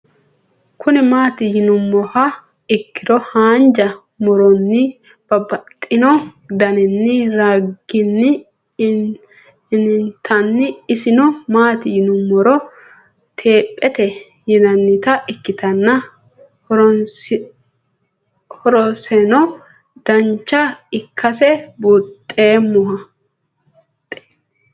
Kuni mati yinumoha ikiro hanja muroni babaxino daninina ragini intani iseno mati yiinumoro teepete yinanita ikitana horoseno dancha ikase bunxemoha